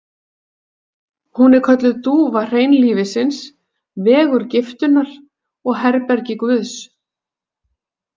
Hún er kölluð dúfa hreinlífisins, vegur giftunnar og herbergi guðs